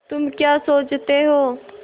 तुम क्या सोचते हो